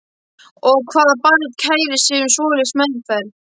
Og hvaða barn kærir sig um svoleiðis meðferð?